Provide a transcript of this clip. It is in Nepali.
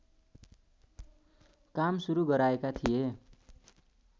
काम सुरू गराएका थिए